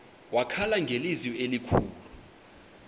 wakhala ngelizwi elikhulu